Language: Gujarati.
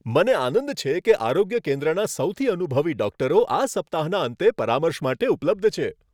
મને આનંદ છે કે આરોગ્ય કેન્દ્રના સૌથી અનુભવી ડોક્ટરો આ સપ્તાહના અંતે પરામર્શ માટે ઉપલબ્ધ છે.